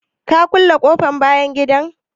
Ka kulle ƙofan bayan gidan?